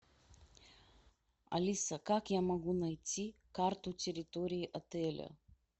алиса как я могу найти карту территории отеля